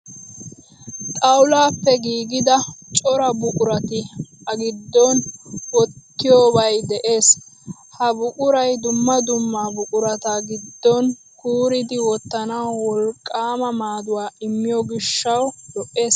Xawulaappe giigida cora buqurat A giddon wottiyobay de'ees. Ha buquray dumma dumma buqurata giddon kuuridi wottanawu wolqqaama maaduwa immiyo gishshawu lo"ees.